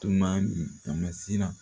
Tuma min a ma siran